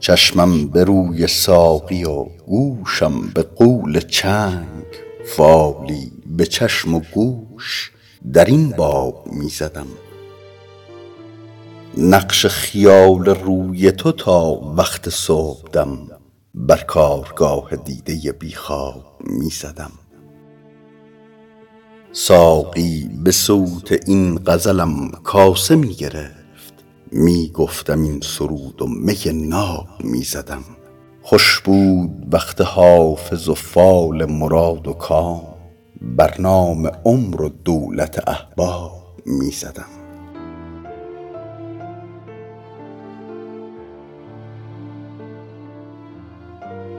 چشمم به روی ساقی و گوشم به قول چنگ فالی به چشم و گوش در این باب می زدم نقش خیال روی تو تا وقت صبحدم بر کارگاه دیده بی خواب می زدم ساقی به صوت این غزلم کاسه می گرفت می گفتم این سرود و می ناب می زدم خوش بود وقت حافظ و فال مراد و کام بر نام عمر و دولت احباب می زدم